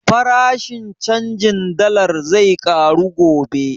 Farashin canjin dallar zai ƙaru gobe